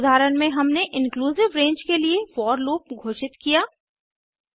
इस उदाहरण में हमने इंक्लूसिव रेंज के लिए फोर लूप घोषित किया